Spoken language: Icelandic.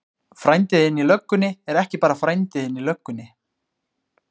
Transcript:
Frændi þinn í löggunni er ekki bara frændi þinn í löggunni.